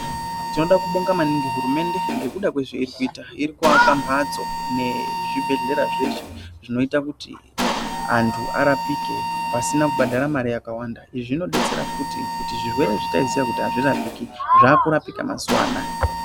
Tinoda kubonga maningi hurumende ngekuda kwezveirikuita. Iri kuvaka mhatso nezvibhedhlera zveshe zvinoita kuti antu arapike pasina kubhadhara mari yakawanda. Izvi zvinobetsera futi kuti zvirwere zvataiziya kuti hazvirapiki zvakurapika mazuva anaya.